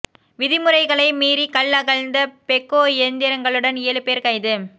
விதிமுறைகனை மீறி கல் அகழ்ந்த பெக்கோ இயந்திரங்களுடன் ஏழு பேர் கைது